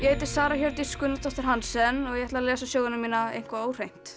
heiti Sara Hjördís Gunnarsdóttir Hansen og ég ætla að lesa söguna mína eitthvað óhreint